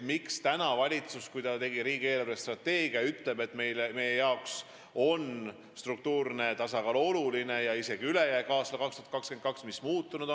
Miks ütles valitsus, kui ta tegi riigi eelarvestrateegiat, et tema jaoks on struktuurne tasakaal ja isegi ülejääk aastal 2022 olulised?